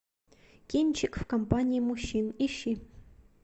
кинчик в компании мужчин ищи